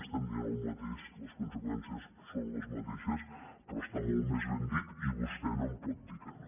estem dient el mateix les conseqüències són les mateixes però està molt més ben dit i vostè no em pot dir que no